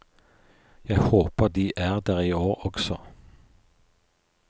Jeg håper de er der i år også.